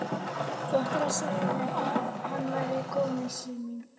Þú áttir að segja mér að hann væri kominn, Sif mín!